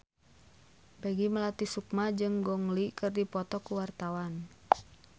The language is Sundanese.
Peggy Melati Sukma jeung Gong Li keur dipoto ku wartawan